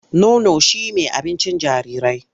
Nono shi me abincin jarirai.